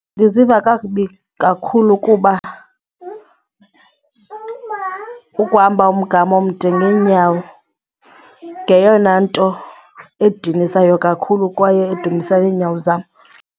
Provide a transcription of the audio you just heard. Ndiziva kakubi kakhulu kuba ukuhamba umgama omde ngeenyawo ngeyona nto edinisayo kakhulu kwaye edumbisa neenyawo zam.